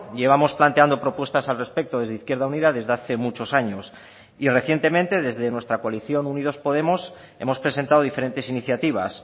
llevamos planteando propuestas al respecto desde izquierda unida desde hace muchos años y recientemente desde nuestra coalición unidos podemos hemos presentado diferentes iniciativas